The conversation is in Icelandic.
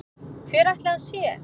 Hver ætli hann sé?